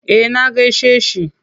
Eh na gaishe shi.